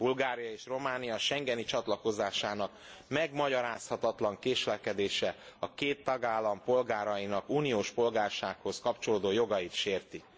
Bulgária és Románia schengeni csatlakozásának megmagyarázhatatlan késlekedése a két tagállam polgárainak uniós polgársághoz kapcsolódó jogait sérti.